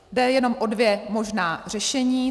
Jde jenom o dvě možná řešení.